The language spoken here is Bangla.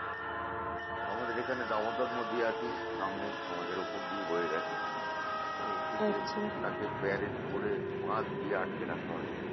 আমাদের এখানে damodar নদী আছে সামনে আমাদের ওপর দিয়ে বয়ে গেছে তাকে barrage করে বাধ দিয়ে আটকে রাখা হয়েছে